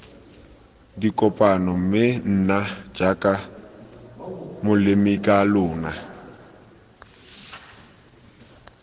dikopano mme nna jaaka molemikalona